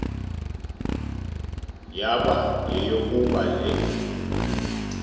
yaba yeyokuba le